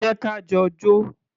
Jẹ́ ka jọ jó.